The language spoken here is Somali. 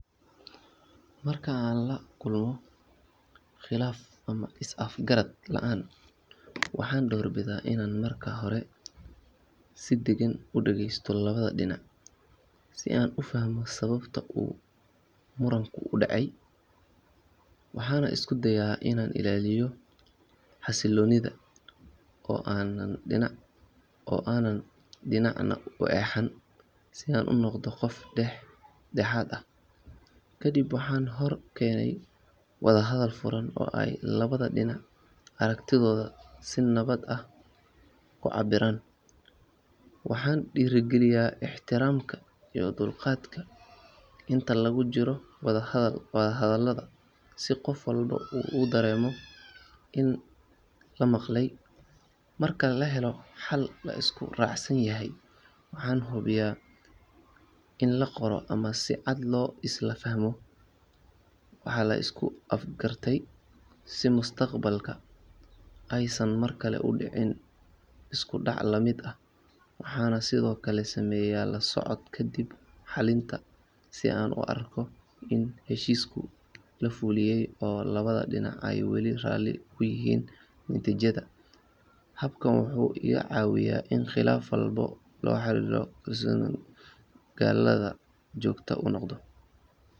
Marka aan la kulmo khilaaf ama is afgarad la’aan, waxaan doorbidaa inaan marka hore si deggan u dhageysto labada dhinac si aan u fahmo sababta uu muranku u dhacay. Waxaan isku dayaa inaan ilaaliyo xasilloonida oo aanan dhinacna u eexan si aan u noqdo qof dhex dhexaad ah. Kadib waxaan hor keenaa wada hadal furan oo ay labada dhinac aragtidooda si nabad ah ku cabbiraan. Waxaan dhiirrigeliyaa ixtiraamka iyo dulqaadka inta lagu jiro wadahadallada si qof walba uu dareemo in la maqalay. Marka la helo xal la isku raacsan yahay, waxaan hubiyaa in la qoro ama si cad loo isla fahmo waxa la isku afgartay si mustaqbalka aysan markale u dhicin isku dhac la mid ah. Waxaan sidoo kale sameeyaa la socod kadib xalinta si aan u arko in heshiiska la fuliyay oo labada dhinac ay weli raalli ku yihiin natiijada. Habkan wuxuu iga caawiyaa in khilaaf walba loo xalliyo si xasiloon, caddaalad ah oo joogto u noqda.